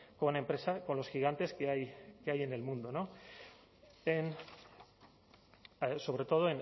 con empresa con los gigantes que hay que hay en el mundo sobre todo